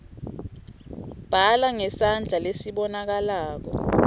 bhala ngesandla lesibonakalako